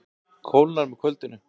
Kólnar með kvöldinu